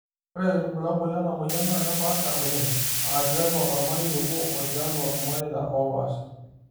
Ore irbulabol lenamoyian naa kepaasha oleng, aa tiatua ormarei obo o tialo irmareta oopaasha.